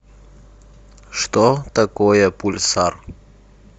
что такое пульсар